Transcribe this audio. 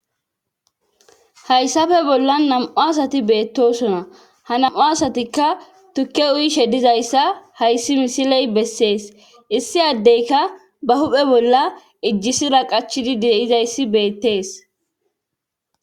Hayssafe bolla nam'u asati beettosona ha nam'u asatikka tukke uyi shedizayssa hayssi misiley bessees issi addeyka ba huphe bolla ijjisi raqachidi deizayssi beettees.